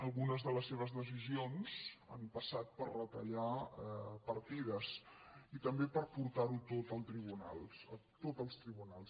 algunes de les seves decisions han passat per retallar partides i també per portar ho tot als tribunals